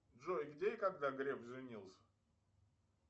джой где и когда греф женился